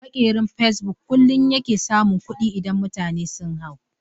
Maƙerin fasebuk kullun yake samun kuɗi idan mutane sun hau.